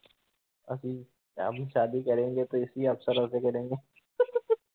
ਅਸੀ ਅਬੀ ਸਾਦੀ ਕਰੇਗੇ ਤੋ ਇਸੀ ਅਫਸਰੋਂਸੇ ਕਰੇਗੇਂ ।